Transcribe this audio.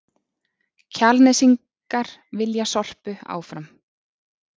Kjalnesingar vilja Sorpu áfram